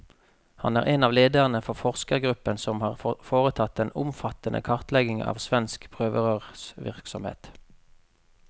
Han er en av lederne for forskergruppen som har foretatt den omfattende kartleggingen av svensk prøverørsvirksomhet.